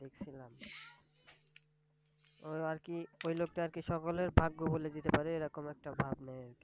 আর কি ওই লোকটা আর কি সকলের ভাগ্য বলে দিতে পারে, এরকম একটা ভাব নেয় আর কি।